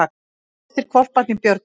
Flestir hvolparnir björguðust